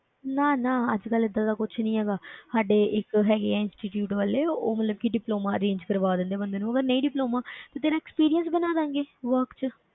ਨਾ ਨਾ ਅੱਜ ਕੱਲ੍ਹ ਏਦਾਂ ਦਾ ਕੁਛ ਨੀ ਹੈਗਾ ਸਾਡੇ ਇੱਕ ਹੈਗੇ ਆ institute ਵਾਲੇ ਉਹ ਮਤਲਬ ਕਿ diploma arrange ਕਰਵਾ ਦਿੰਦੇ ਆ ਬੰਦੇ ਨੂੰ ਅਗਰ ਨਹੀਂ diploma ਤੇ ਤੇਰਾ experience ਬਣਾ ਦੇਵਾਂਗੇ work ਵਿੱਚ।